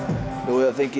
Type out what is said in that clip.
þið